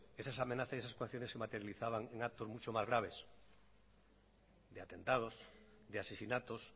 esas amenazas y esas coacciones se materializaban en actos mucho más graves de atentados de asesinatos